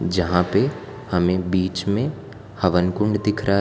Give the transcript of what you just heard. जहां पे हमें बीच में हवन कुंड दिख रहा है।